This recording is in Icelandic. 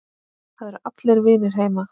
Það eru allir vinir heima.